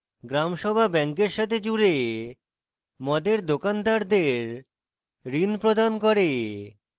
gram sabha ব্যাংকের সাথে জুড়ে মদের দোকানদারদের ঋণ প্রদান করে